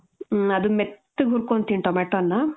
ಮ್ಮ್. ಅದನ್ ಮೆತ್ತಗ್ ಹುರ್ಕೊಂತೀನಿ tomato ನ.